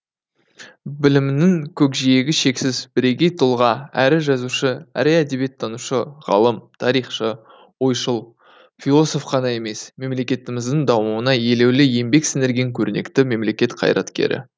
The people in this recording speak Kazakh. білімінің көкжиегі шексіз бірегей тұлға әрі жазушы әрі әдебиеттанушы ғалым тарихшы ойшыл философ қана емес мемлекетіміздің дамуына елеулі еңбек сіңірген көрнекті мемлекет қайраткері